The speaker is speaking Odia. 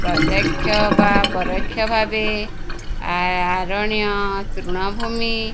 ପ୍ରତ୍ୟକ୍ଷ ବା ପରୋକ୍ଷ ଭାବେ ଆରଣ୍ୟ ତୃଣଭୂମି --